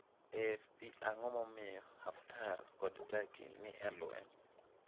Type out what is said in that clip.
AFP Ang’o momiyo Haftar kod Turkey ni e lweny?